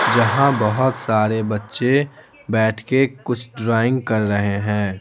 जहाँ बहुत सारे बच्चे बैठ के कुछ ड्राइंग कर रहे हैं।